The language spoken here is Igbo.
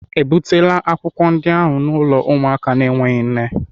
Ebutela akwụkwọ ndị ahụ n'ụlọ ụmụaka na-enweghị nne?